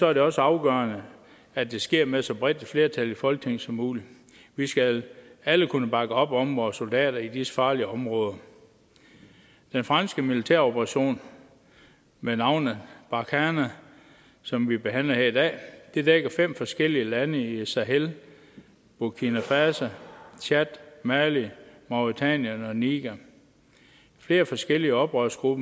er det også afgørende at det sker med så bredt et flertal i folketinget som muligt vi skal alle kunne bakke op om vores soldater i disse farlige områder den franske militæroperation med navnet barkhane som vi behandler her i dag dækker fem forskellige lande i sahel burkina faso tchad mali mauretanien og niger flere forskellige oprørsgrupper